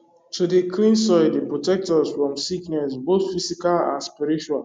to dey clean soil dey protect us from sickness both physical and spiritual